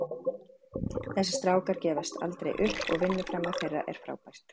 Þessir strákar gefast aldrei upp og vinnuframlag þeirra er frábært.